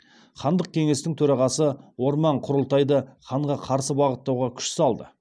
хандық кеңестің төрағасы орман құрылтайды ханға қарсы бағыттауға күш салды